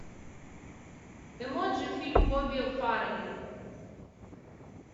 эмоджи фильм бобби фаррелли